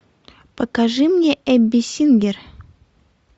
покажи мне эбби сингер